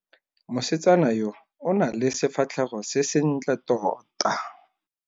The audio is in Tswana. Mosetsana yo o na le sefatlhego se sentle tota.